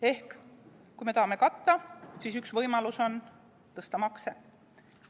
Ehk kui me tahame katta, siis üks võimalus on tõsta makse.